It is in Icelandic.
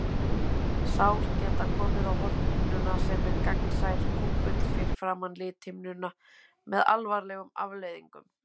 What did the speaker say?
Sár geta komið á hornhimnuna, sem er gagnsær kúpull fyrir framan lithimnuna, með alvarlegum afleiðingum.